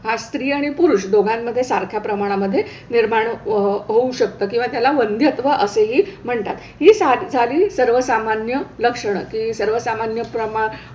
हा स्त्री आणि पुरुष दोघांमध्ये सारख्या प्रमाणामध्ये निर्माण होऊ शकतं किंवा त्याला वंध्यत्व असेही म्हणतात. ही झाली सर्वसामान्य लक्षणं की सर्वसामान्य प्रमा,